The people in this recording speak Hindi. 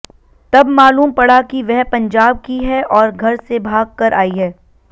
तब मालूम पड़ा कि वह पंजाब की है और घर से भाग कर आई है